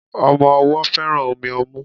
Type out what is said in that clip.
Omo owó féràn Omi omú